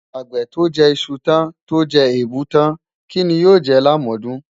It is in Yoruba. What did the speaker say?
Àgbè tó jẹ iṣu tán tó jẹ èèbù tán, kí ni yóò jẹ lámọ̀ọ́dún?